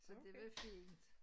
Så det var fint